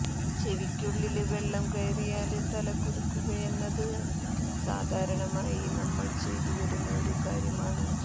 ചെവിക്കുള്ളില് വെള്ളം കയറിയാല് തല കുലുക്കുകയെന്നത് സാധാരണയായി നമ്മള് ചെയ്തുവരുന്ന ഒരു കാര്യമാണ്